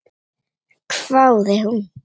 hváði hún.